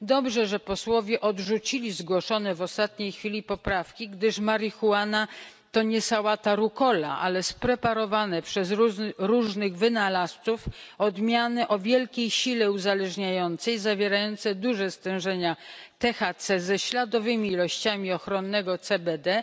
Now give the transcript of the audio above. Dobrze, że posłowie odrzucili zgłoszone w ostatniej chwili poprawki, gdyż marihuana to nie sałata rukola, ale spreparowane przez różnych wynalazców odmiany o wielkiej sile uzależniającej, zawierające duże stężenia THC ze śladowymi ilościami ochronnego CBD,